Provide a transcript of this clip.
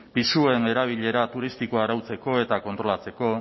pisuen erabilera turistikoa arautzeko eta kontrolatzeko